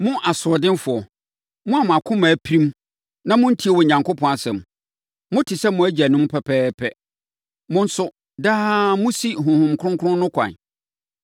“Mo asoɔdenfoɔ, mo a mo akoma apirim na montie Onyankopɔn asɛm. Mote sɛ mo agyanom pɛpɛɛpɛ. Mo nso, daa mosi Honhom Kronkron no ho kwan.